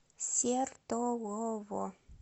сертолово